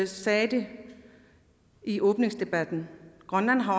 sagde det i åbningsdebatten grønland har